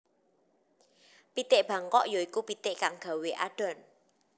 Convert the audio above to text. Pitik Bangkok ya iku pitik kang gawé adhon